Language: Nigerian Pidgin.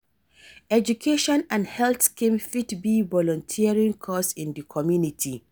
Education and health scheme fit be volunteering cause in di community.